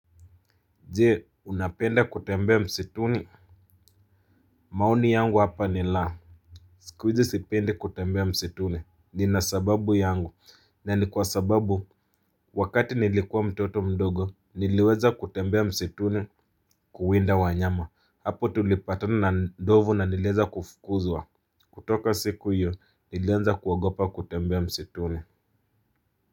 Je unapenda kutembea msituni. Maoni yangu hapa ni la sikuhizi sipendi kutembea msituni nina sababu yangu na nikwasababu wakati nilikuwa mtoto mdogo niliweza kutembea msituni. Kuwinda wanyama. Hapo tulipatana na ndovu na niliweza kufukuzwa kutoka siku yio nilianza kuogopa kutembea msituni.